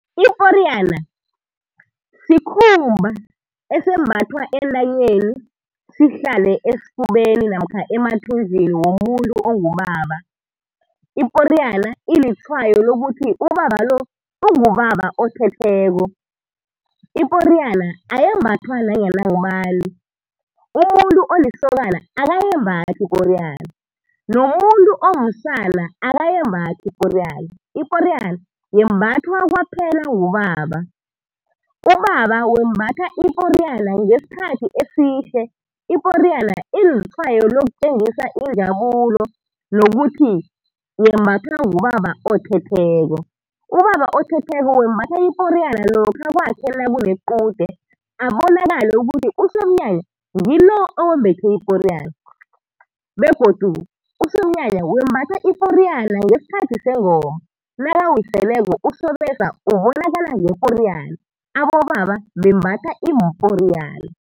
Iporiyana sikhumba esimbathwa entanyeni sihlale esifubeni namkha emathunjini womuntu ongubaba. Iporiyana ilitshwayo lokuthi ubaba lo ungubaba othetheko. Iporiyana ayembathwa nanyana ngubani. Umuntu olisokana akayembathi iporiyana, nomuntu omsana akayembathi iporiyana. Iporiyana yembathwa kwaphela ngubaba. Ubaba wembatha ngesikhathi esihle, iporiyana ilitshwayo lokutjengisa injabulo nokuthi yembathwa ngubaba othetheko. Ubaba othetheko wembatha iporiyana lokha kwakhe nakunequde, abonakale ukuthi usomnyanya ngilo owembethe iporiyana, begodu usomnyanya wembatha iporiyana ngesikhathi sengoma, nakawiseleko usobesa ubonakala ngeporiyana. Abobaba bembatha iimporiyana.